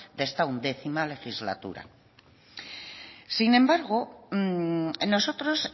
de esta once legislatura sin embargo nosotros